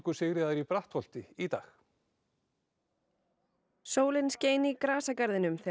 Sigríðar í Brattholti í dag sólin skein í grasagarðinum þegar